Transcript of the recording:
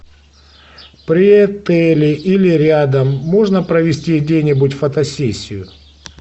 при отеле или рядом можно провести где нибудь фотосессию